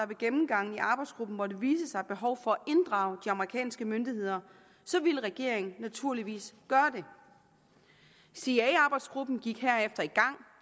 ved gennemgangen i arbejdsgruppen måtte vise sig behov for at inddrage de amerikanske myndigheder ville regeringen naturligvis gøre det cia arbejdsgruppen gik herefter i gang